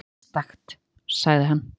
Einstakt, sagði hann.